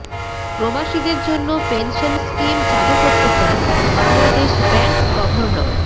প্রবাসীদের জন্য pension scheme চালু করতে চান বাংলাদেশ ব্যাংক গভর্নর